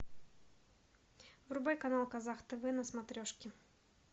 врубай канал казах тв на смотрешке